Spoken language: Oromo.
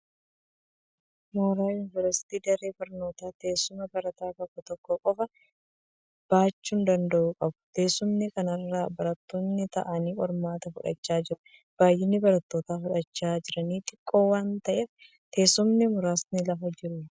Mooraan yuuniversiitii daree barnootaa teessuma barataa tokko tokko qofaa baachuu danda'u qabu. Teessuma kana irra barattoonni taa'anii qormaata fudhachaa jiru. Baay'inni barattoota fudhachaa jiran xiqqoo waan ta'eef, teessumni muraasa lafa jiru.